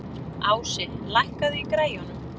Ási, lækkaðu í græjunum.